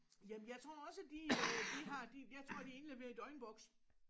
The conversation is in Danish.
Jamen jeg tror også de øh de har de jeg tror de indleverer i døgnbokse